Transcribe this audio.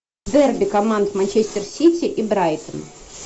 дерби команд манчестер сити и брайтон